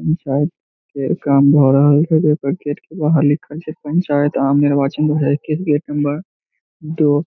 इ शायद गेट के बाहर लिखल छे पंचायत आम निर्वाचन एक नंबर दो आस